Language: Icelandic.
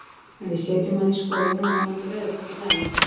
En við setjum hann í skoðun og vonandi verður þetta í lagi.